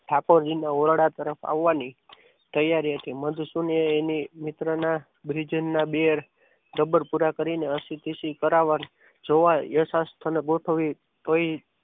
ઠાકોરજીના ઓરડા તરફ આવવાની તૈયારી હતી મંદ સુનિયે એની મિત્રના ભજનના બેન રબર પુરા કરીને આશિકીસી કરાવવાનું જોવા ય શાસ્ત્ર ને ગોઠવી તોય